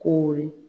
Ko ye